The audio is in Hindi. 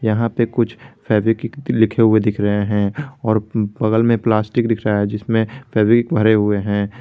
यहां पे कुछ फेवीक्विक लिखे हुए दिख रहे हैं और बगल में प्लास्टिक दिख रहा है जिसमें फेवीक्विक भरे हुए हैं।